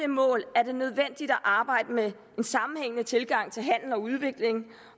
mål er det nødvendigt at arbejde med en sammenhængende tilgang til handel og udvikling